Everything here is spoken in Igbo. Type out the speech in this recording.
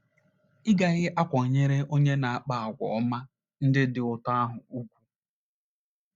Ị̀ gaghị akwanyere onye na - akpa àgwà ọma ndị dị otú ahụ ùgwù?